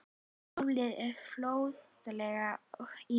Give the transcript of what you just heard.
Málið fór fljótlega í nefnd sem klofnaði.